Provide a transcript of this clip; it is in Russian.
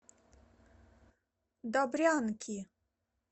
добрянки